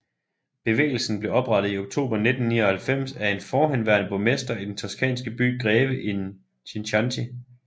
Bevægelsen blev oprettet i oktober 1999 af en forhenværende borgmester i den toscanske by Greve in Chianti